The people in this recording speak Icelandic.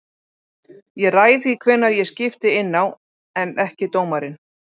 Ég ræð því hvenær ég skipti inná en ekki dómarinn.